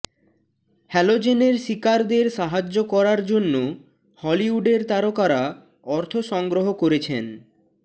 হ্যালোজেনের শিকারদের সাহায্য করার জন্য হলিউডের তারকারা অর্থ সংগ্রহ করেছেন